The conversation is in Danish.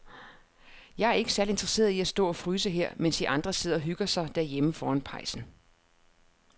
Jeg er ikke særlig interesseret i at stå og fryse her, mens de andre sidder og hygger sig derhjemme foran pejsen.